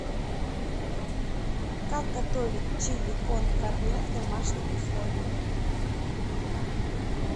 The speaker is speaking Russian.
как готовить чили кон карне в домашних условиях